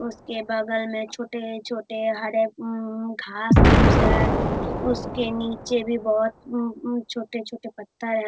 उसके बगल में छोटे-छोटे हरे उम्म घास-फूस है उसके नीचे भी बहुत उम उम छोटे-छोटे पत्ता है।